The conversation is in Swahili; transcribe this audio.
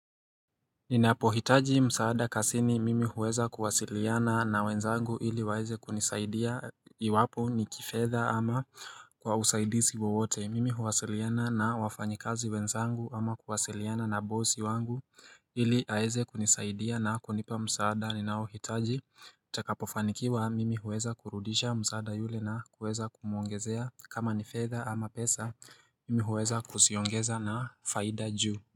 Ninapohitaji msaada kazini mimi huweza kuwasiliana na wenzangu ili waeze kunisaidia iwapo ni kifedha ama kwa usaidizi wowote mimi huwasiliana na wafanyikazi wenzangu ama kuwasiliana na bosi wangu ili aeze kunisaidia na kunipa msaada ninaohitaji ntakapofanikiwa mimi huweza kurudisha msaada yule na kuweza kumuongezea kama ni fedha ama pesa mimi huweza kuziongeza na faida juu.